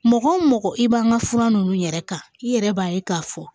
Mɔgɔ mɔgɔ i b'an ka fura ninnu yɛrɛ kan i yɛrɛ b'a ye k'a fɔ